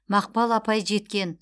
мақпал апай жеткен